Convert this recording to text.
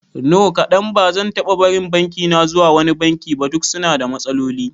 No kadan, bazan taba barin bankina zuwa wani banki ba, duka suna da matsaloli